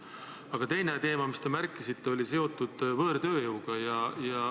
Aga teine teema, mis te märkisite, oli seotud võõrtööjõuga.